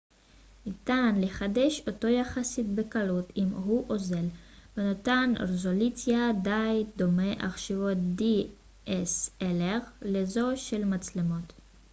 ניתן לחדש אותו יחסית בקלות אם הוא אוזל ונותן רזולוציה די דומה לזו של מצלמות dslr עכשוויות